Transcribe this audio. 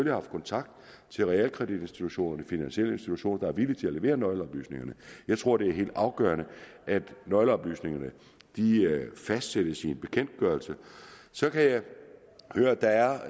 har haft kontakt til realkreditinstitutterne finansielle institutioner der er villige til at levere nøgleoplysningerne jeg tror det er helt afgørende at nøgleoplysningerne fastsættes i en bekendtgørelse så kan jeg høre at der er